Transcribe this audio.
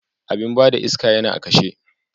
Abin ba da iska yana a kashe.